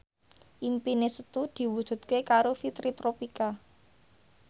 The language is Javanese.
impine Setu diwujudke karo Fitri Tropika